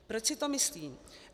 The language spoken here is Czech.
Proč si to myslím?